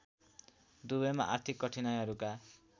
दुबईमा आर्थिक कठिनाइहरूका